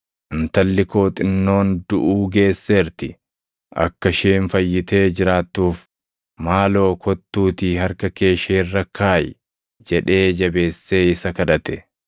“Intalli koo xinnoon duʼuu geesseerti. Akka isheen fayyitee jiraattuuf, maaloo kottuutii harka kee ishee irra kaʼi” jedhee jabeessee isa kadhate.